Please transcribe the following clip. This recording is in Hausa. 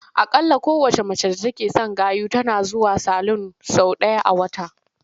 Aƙalla kowacce mace d atake son gayu tana zuwa salun sau ɗaya a wata.